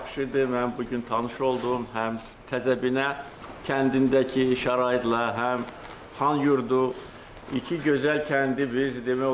Mən bu gün tanış oldum həm Təzəbinə kəndindəki şəraitlə, həm Xanyurdu iki gözəl kəndi.